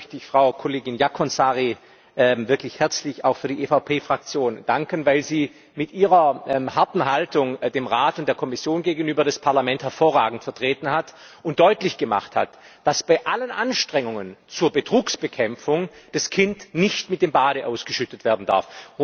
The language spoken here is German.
Zunächst mal möchte ich Frau Kollegin Jaakonsaari wirklich herzlich auch für die EVP Fraktion danken, weil sie mit ihrer harten Haltung dem Rat und der Kommission gegenüber das Parlament hervorragend vertreten hat und deutlich gemacht hat, dass bei allen Anstrengungen zur Betrugsbekämpfung das Kind nicht mit dem Bade ausgeschüttet werden darf.